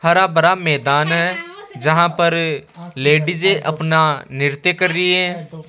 हरा भरा मैदान है जहां पर लेडिजे अपना नृत्य कर रही है।